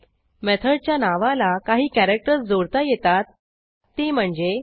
मेथडच्या नावाला काही कॅरॅक्टर्स जोडता येतात ती म्हणजे